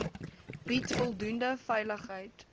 bied voldoende veiligheid